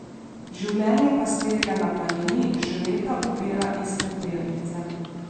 Življenje pastirja na planini že leta ubira iste tirnice.